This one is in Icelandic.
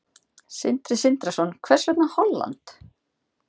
Sindri Sindrason: Hvers vegna Holland?